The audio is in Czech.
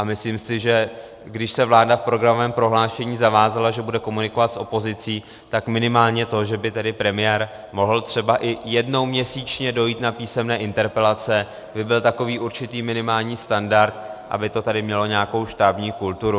A myslím si, že když se vláda v programovém prohlášení zavázala, že bude komunikovat s opozicí, tak minimálně to, že by tedy premiér mohl třeba i jednou měsíčně dojít na písemné interpelace, by byl takový určitý minimální standard, aby to tady mělo nějakou štábní kulturu.